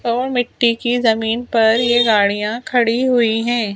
और मिट्टी की जमीन पर ये गाड़ियां खड़ी हुई हैं।